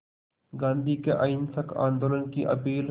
गांधी के अहिंसक आंदोलन की अपील